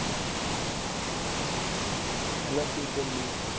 Hello, future bee